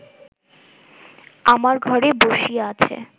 আমার ঘরে বসিয়া আছে